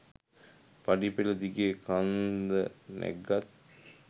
පඩි පෙළ දිගේ කන්ද නැග්ගත්